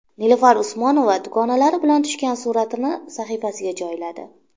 Nilufar Usmonova dugonalari bilan tushgan suratini sahifasiga joyladi.